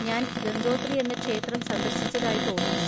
ഞാൻ ഗംഗോത്രി എന്ന ക്ഷേത്രം സന്ദർശിച്ചതായി തോന്നുന്നു.